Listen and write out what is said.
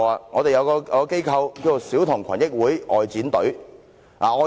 我們有一個機構，是小童群益會外展隊。